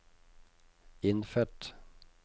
innfødt